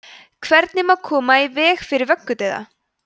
hvernig má koma í veg fyrir vöggudauða